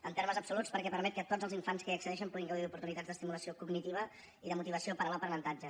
en termes absoluts perquè permet que tots els infants que hi accedeixen puguin gaudir d’oportunitats d’estimulació cognitiva i de motivació per a l’aprenentatge